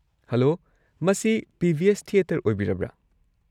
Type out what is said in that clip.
Hello, ꯃꯁꯤ PVS. Theatre ꯑꯣꯢꯕꯤꯔꯕ꯭ꯔ?